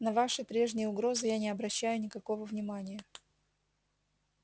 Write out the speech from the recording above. на ваши прежние угрозы я не обращаю никакого внимания